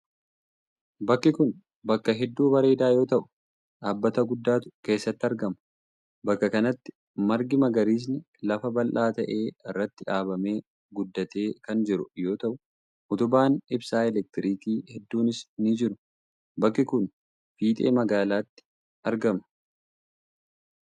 Bakki kun, bakka hedduu bareedaa yoo ta'u, dhaabbata guddaatu keessatti argama. Bakka kanatti margi magariisni lafa bal'aa ta'e irratti dhaabamee guddatee kan jiru yoo ta'u, utubaan ibsaa elektirikii hedduunis ni jiru. Bakki kun, fiixee magaalaatti argama.